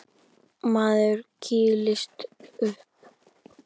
Maður kýlist upp.